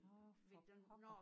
Nårh for pokker